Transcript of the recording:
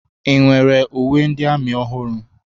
Ị nwere uwe ndị amị ọhụrụ?